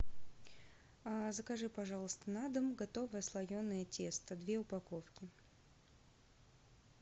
закажи пожалуйста на дом готовое слоеное тесто две упаковки